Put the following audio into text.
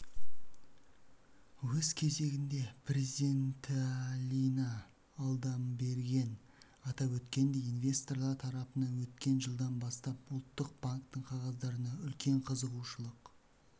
өз кезегінде президентіалина алдамберген атап өткендей инвесторлар тарапынан өткен жылдан бастап ұлттық банктың қағаздарына үлкен қызығушылық